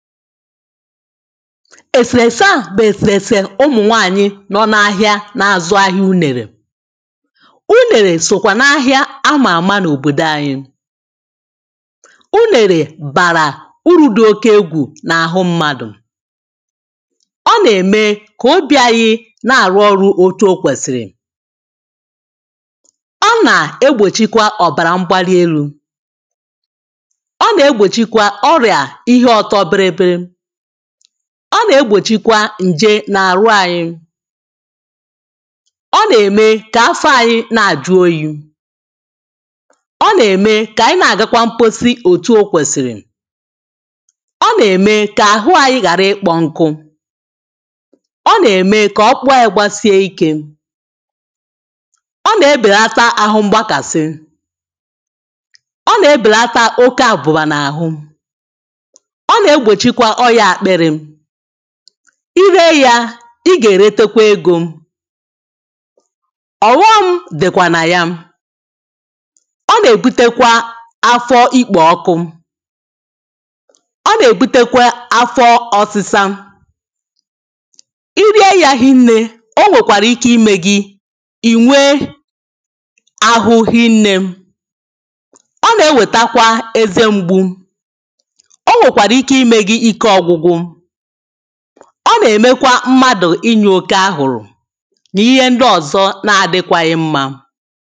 èsèrèsè a bụ̀ èsèrèsè ụmụ̀nwaànyị nọ na ahịa na-azụ ahịa unèrè unèrè sòkwà na ahịa a mà àma n’òbòdò anyị unèrè bàrà uru̇ dị oke egwù na-àhụ mmadụ̀ ọ nà-ème kà obi ȧnyị̇ na-àrụ ọrụ̇ otu okwèsìrì ọ nà egbòchi kwa ọ̀bàrà mgbali elu̇ ọ nà-egbòchi kwa ọrịa ihe ọtọ bịrị bịrị, ọ na egbochi kwà ǹje na-àrụ anyị. ọ nà-ème kà afọ anyị na-àjụ oyi̇. ọ nà-ème kà ànyị na-àgakwa mposi òtù o kwèsìrì, ọ nà-ème kà àhụ anyị ghàra ịkpọ nkụ ọ nà-ème kà ọkpụkpụ anyị gbasie ikė, ọ nà-ebèlata àhụ mgbakàsị, ọ nà-ebèlata oke àbụ̀bà n’àhụ, o na egbochi kwà ọrịa akpịrị. iri e ya i ga-erete kwa ego. ọhom dịkwa na ya. ọ na-ebute kwa afọ ikpo ọkụ, ọ na-ebute kwa afọ ọsịsa. irie ya hinnė o nwekwara ike ime gi inwe ahụ hinnė ọ na-eweta kwa eze mgbu. O nwekwara ike ime gị oké ike ọgwụgwụ, ọ nà-ème kwa mmadụ̀ inyò oke àhụrụ̀ n’ihe ndị ọ̀zọ na-adịkwaghi mmȧ